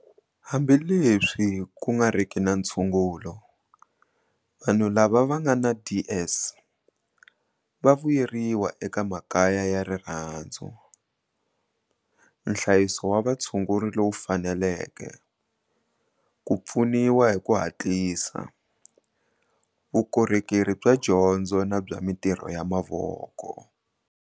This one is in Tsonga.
Hambileswi ku ngariki na ntshungulo, vanhu lava va nga na DS va vuyeriwa eka makaya ya rirhandzu, nhlayiso wa vutshunguri lowu faneleke, ku pfuniwa hi ku hatlisa, vukorhokeri bya dyondzo na bya mitirho ya mavoko.